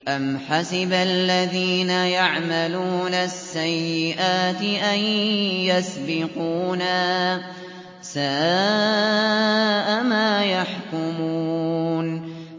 أَمْ حَسِبَ الَّذِينَ يَعْمَلُونَ السَّيِّئَاتِ أَن يَسْبِقُونَا ۚ سَاءَ مَا يَحْكُمُونَ